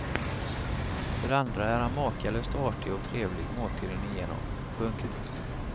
För det andra är han makalöst artig och trevlig måltiden igenom. punkt